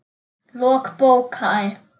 Lok bókar